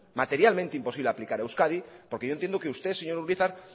materialmente imposible de aplicar a euskadi porque yo entiendo que usted señor urizar